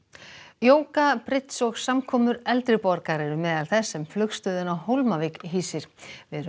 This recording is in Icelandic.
jóga bridds og samkomur eldri borgara eru meðal þess sem flugstöðin á Hólmavík hýsir við erum